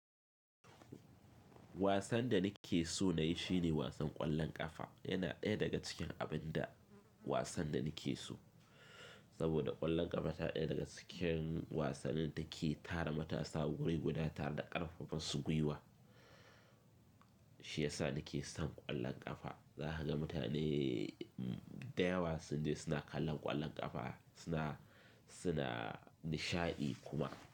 Wasan da nake so na yi shine wasan ƙwallon ƙafa. Yana ɗaya daga cikin abin da wasan da nake so. Saboda ƙwallon ƙafa na ɗaya daga cikin wasannin da ke tara matasa wuriguda tare da ƙarfafa masu gwiwa. Shi yasa nake son ƙwallon ƙafa. Za ka ga mutane da yawa sanda suna kallon ƙwallon ƙafa suna, suna nishaɗi kuma.